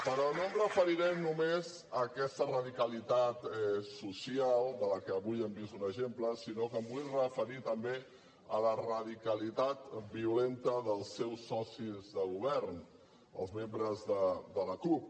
però no em referiré només a aquesta radicalitat social de què avui han vist un exemple sinó que em vull referir també a la radicalitat violenta dels seus socis de govern els membres de la cup